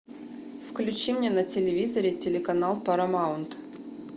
включи мне на телевизоре телеканал парамаунт